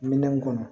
Minɛn kɔnɔ